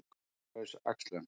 Kynlaus æxlun